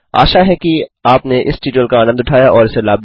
आशा है कि आपने इस ट्यूटोरियल का आनन्द उठाया और इसे लाभदायक पाया